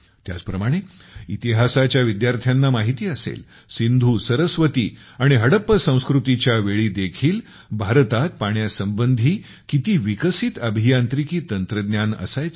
त्याच प्रमाणे इतिहासाच्या विद्यार्थ्यांना माहिती असेल सिन्धु सरस्वती आणि हडप्पा संस्कृतीच्या वेळी देखील भारतात पाण्यासंबंधी किती विकसित अभियांत्रिकी तंत्रज्ञान असायचे